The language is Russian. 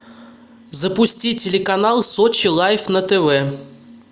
запусти телеканал сочи лайф на тв